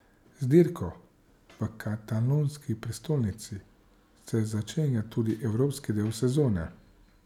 Z dirko v katalonski prestolnici se začenja tudi evropski del sezone.